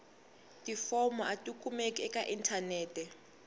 tifomo a tikumeki eka inthanete